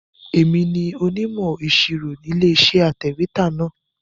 Èmi ni onímọ̀ ìṣirò Ilé-iṣẹ́ atẹ̀wétà náà.